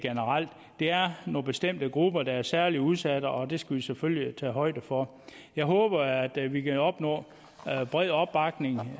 er nogle bestemte grupper der er særlig udsatte og det skal vi selvfølgelig tage højde for jeg håber at vi kan opnå bred opbakning